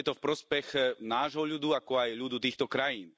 Preto je to v prospech nášho ľudu, ako aj ľudu týchto krajín.